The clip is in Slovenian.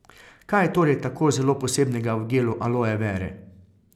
Kaj je torej tako zelo posebnega v gelu aloe vere?